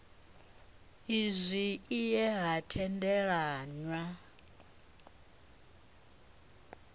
izwi i ye ha tendelanwa